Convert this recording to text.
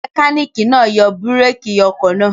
Mẹkáníkì náà yọ búrékì ọkọ̀.